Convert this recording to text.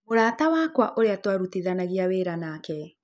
Mũrata wakwa ũrĩa twarutithanagia wĩra nake